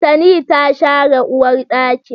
Tani ta share uwarɗakin